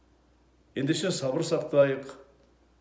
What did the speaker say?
ендеше сабыр сақтайық